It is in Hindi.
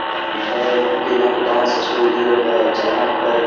यह एक पिनक डांस स्टूडियो है जहां पर--